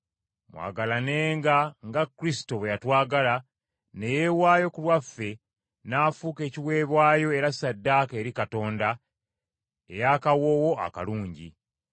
Mwagalanenga nga Kristo bwe yatwagala ne yeewaayo ku lwaffe n’afuuka ekiweebwayo era ssaddaaka eri Katonda, eyakawoowo akalungi.